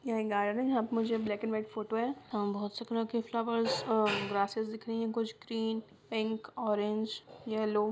यह गार्डन है यह मे ब्लाक एंड व्हाइट फोटो है और बहुत सारे फ्लावर्स प्रेस दिख रही है कुछ स्क्रीन पिक ऑरेंज येल्लो --